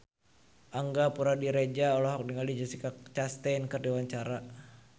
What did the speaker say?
Angga Puradiredja olohok ningali Jessica Chastain keur diwawancara